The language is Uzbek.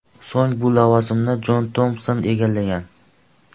So‘ng bu lavozimni Jon Tompson egallagan.